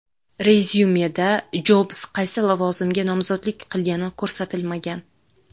Rezyumeda Jobs qaysi lavozimga nomzodlik qilgani ko‘rsatilmagan.